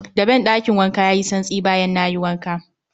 Daben ɗakin wankan yayi santsi bayan nayi wanka